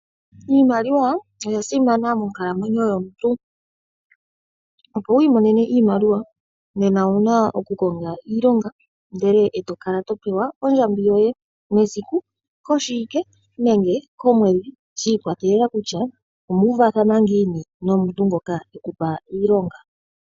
Iimaliwa oya simana monkalamwenyo yomuntu. Opo wu imonene iimaliwa nena owuna oku konga iilonga ndele e to kala to pewa ondjambi yoye mesiku, koshiwike nenge komwedhi, shi ikwatelela kutya omu uvathana ngiini nomuntu ngoka eku pa iilonga.